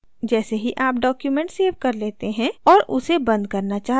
जैसे ही आप document सेव कर लेते हैं और उसे बंद करना चाहते हैं